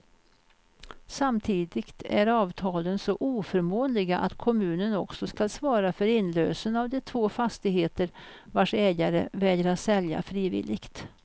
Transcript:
Samtidigt är avtalen så oförmånliga att kommunen också skall svara för inlösen av de två fastigheter, vars ägare vägrar sälja frivilligt.